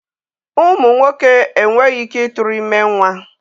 Ụmụ nwoke enweghị ike ịtụrụ ime nwa